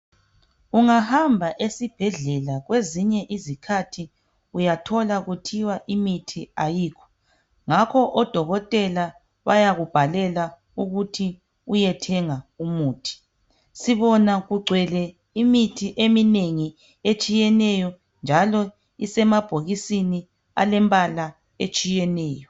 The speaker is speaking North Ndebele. Ungahamba esibhedlela kwezinye izikhathi uyathola kuthiwa imithi ayikho ngakho odokotela bayakubhalela ukuthi uyethenga umuthi sibona kugcwele imithi eminengi etshiyeneyo njalo isemabhokisini alembala etshiyeneyo